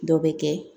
Dɔ bɛ kɛ